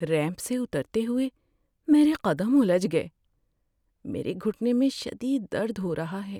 Ramp سے اترتے ہوئے میرے قدم الجھ گئے۔ میرے گھٹنے میں شدید درد ہو رہا ہے۔